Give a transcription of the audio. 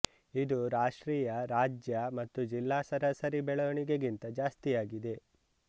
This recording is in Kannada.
ಇದು ರಾಷ್ಟ್ರೀಯ ರಾಜ್ಯ ಮತ್ತು ಜಿಲ್ಲಾ ಸರಾಸರಿ ಬೆಳವಣಿಗೆಗಿಂತ ಜಾಸ್ತಿಯಾಗಿದೆ